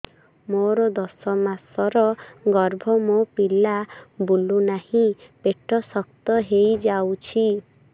ମୋର ଦଶ ମାସର ଗର୍ଭ ମୋ ପିଲା ବୁଲୁ ନାହିଁ ପେଟ ଶକ୍ତ ହେଇଯାଉଛି